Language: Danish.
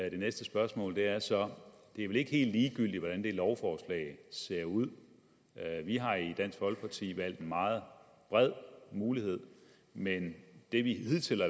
i det næste spørgsmål er så det er vel ikke helt ligegyldigt hvordan det lovforslag ser ud vi har i dansk folkeparti valgt en meget bred mulighed men det vi hidtil i